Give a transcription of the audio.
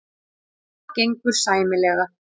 Það gengur sæmilega.